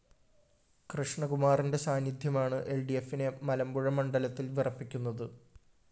കൃഷ്ണകുമാറിന്റെ സാന്നിധ്യമാണ് എല്‍ഡിഎഫിനെ മലമ്പുഴ മണ്ഡലത്തില്‍ വിറപ്പിക്കുന്നത്